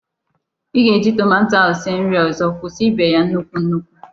Ị ga-eji tomato ahụ sie nri ọzọ. Kwụsị ibe ya nnukwu nnukwu!